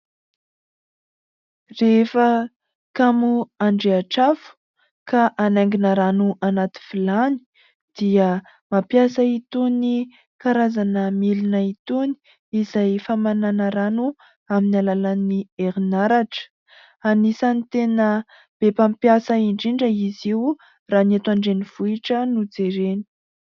Rehefa kamo handrehitra afo ka hanaingina rano anaty vilany, dia mampiasa itony karazana milina itony izay famanàna rano amin'ny alalan'ny herinaratra. Anisan'ny tena be mpampiasa indrindra izy io raha ny eto an-drenivohitra no jerena.